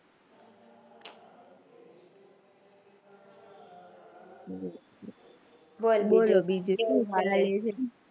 બોલ બોલ બીજું મારા ?